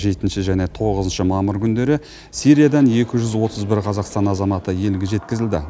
жетінші және тоғызыншы мамыр күндері сириядан екі жүз отыз бір қазақстан азаматы елге жеткізілді